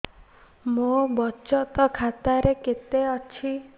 ମୋ ବଚତ ଖାତା ରେ କେତେ ଅଛି